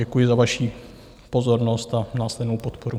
Děkuji za vaši pozornost a následnou podporu.